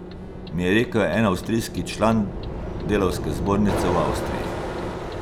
Mi je rekel en avstrijski član delavske zbornice v Avstriji.